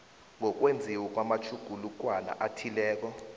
ngokwenziwa kwamatjhugulukwana athileko